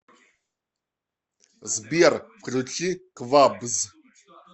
сбер включи квабз